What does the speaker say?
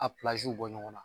A bɔ ɲɔgɔn na